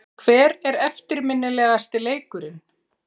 Hver er eftirminnilegasti leikurinn?